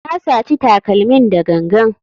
Na saci takalmin da gangan.